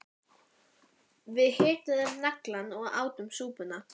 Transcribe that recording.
Við hituðum naglann og áttum súpuna